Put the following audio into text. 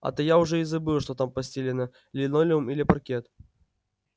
а то я уже и забыл что там постелено линолеум или паркет